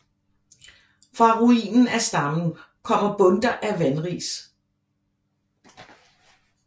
Fra ruinen af stammen kommer bundter af vanris